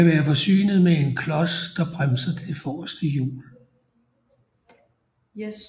Den kan være forsynet med en klods der bremser det forreste hjul